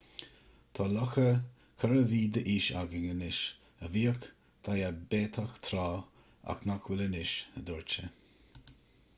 tá lucha 4 mhí d'aois againn anois a bhíodh diaibéiteach tráth ach nach bhfuil anois a dúirt sé